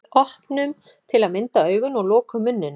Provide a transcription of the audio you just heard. Við opnum til að mynda augun og lokum munninum.